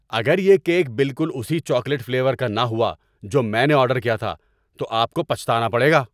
اگر یہ کیک بالکل اسی چاکلیٹ فلیور کا نہ ہوا جو میں نے آرڈر کیا تھا تو آپ کو پچھتانا پڑے گا!